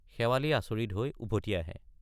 শেৱালি আচৰিত হৈ উভটি আহে।